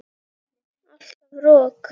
Alltaf rok.